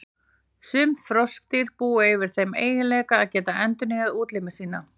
Sum froskdýr búa yfir þeim eiginleika að geta endurnýjað útlimi sína.